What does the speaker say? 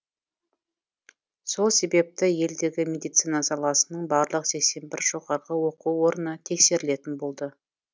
сол себепті елдегі медицина саласының барлық сексен бір жоғарғы оқу орны тексерілетін болды